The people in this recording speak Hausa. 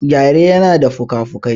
Gyare yana da fikafikai.